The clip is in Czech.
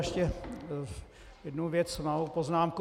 Ještě jednu věc, malou poznámku.